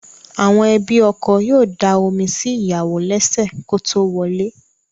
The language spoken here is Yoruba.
Àwọn ẹbí ọkọ yóò da omi sí ìyàwò lẹ́sẹ̀ kótó wọlé.